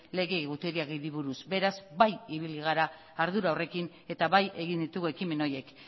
lege egutegiari buruz beraz bai ibili gara ardura horrekin eta bai egin ditugu ekimen horiek